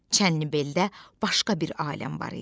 Çənnibeldə başqa bir aləm var idi.